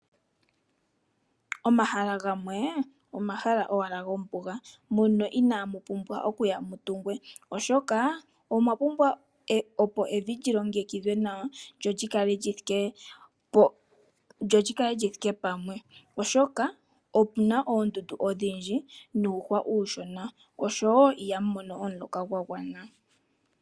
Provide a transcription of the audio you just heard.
Omahala gamwe, omahala owala gombuga, mono inaamupumbwa oku tungwa, oshoka, omwa pumbwa opo evi lyilongekidhwe nawa, lyo lyikale lyithike pamwe, oshoka omuna oondundu odhindji, niihwa iishona, oshoka iha mu mono omuloka gwa gwana.